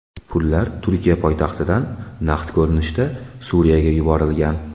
Pullar Turkiya poytaxtidan naqd ko‘rinishda Suriyaga yuborilgan.